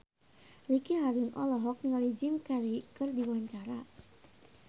Ricky Harun olohok ningali Jim Carey keur diwawancara